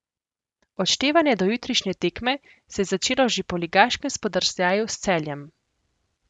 Odštevanje do jutrišnje tekme se je začelo že po ligaškem spodrsljaju s Celjem.